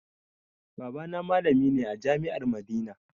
Baba na malami ne a jami'ar madina